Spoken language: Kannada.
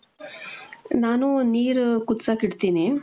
ನಾನು ನೀರ್ ಕುದ್ಸಕ್ ಇಡ್ತೀನಿ .